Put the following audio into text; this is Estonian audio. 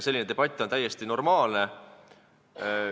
Selline debatt on täiesti normaalne.